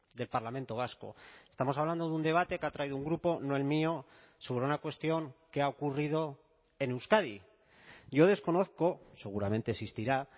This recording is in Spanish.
del parlamento vasco estamos hablando de un debate que ha traído un grupo no el mío sobre una cuestión que ha ocurrido en euskadi yo desconozco seguramente existirá